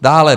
Dále.